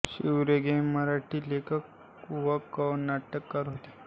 शिव रेगे हे मराठी लेखक कवी व नाटककार होते